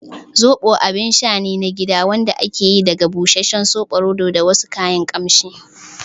Zoɓo abun sha ne na gida wanda ake yi daga busasshen soɓoroto da wasu kayan kamshi